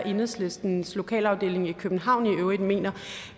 hvad enhedslistens lokalafdeling i københavn i øvrigt mener